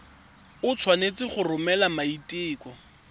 o tshwanetse go romela maiteko